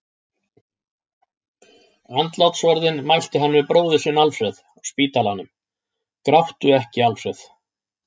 Andlátsorðin mælti hann við bróður sinn Alfreð á spítalanum: Gráttu ekki, Alfreð!